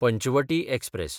Panchavati express